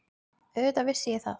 Auðvitað vissi ég það.